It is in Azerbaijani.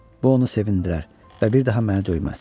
Bu onu sevindirər və bir daha məni döyməz.